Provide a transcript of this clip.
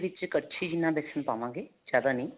ਵਿੱਚ ਕੜਛੀ ਜਿੰਨਾ ਵੇਸਨ ਪਾਵਾਂਗੇ ਜਿਆਦਾ ਨਹੀਂ